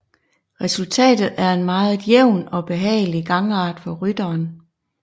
Resultatet er en meget jævn og behagelig gangart for rytteren